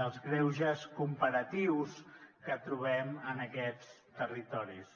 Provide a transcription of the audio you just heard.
dels greuges comparatius que trobem en aquests territoris